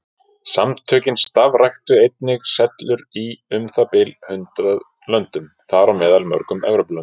Samtökin starfræktu einnig sellur í um það bil hundrað löndum, þar á meðal mörgum Evrópulöndum.